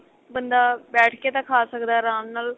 ਬੰਦਾ ਬੈਠ ਕੇ ਤਾਂ ਖਾ ਸਕਦਾ ਅਰਾਮ ਨਾਲ